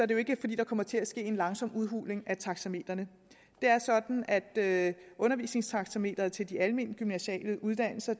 det ikke er fordi der kommer til at ske en langsom udhuling af taxametrene det er sådan at undervisningstaxameteret til de almengymnasiale uddannelser